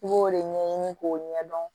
I b'o de ɲɛɲini k'o ɲɛdɔn